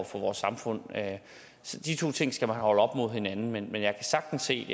for vores samfund så de to ting skal man holde op mod hinanden men jeg kan sagtens se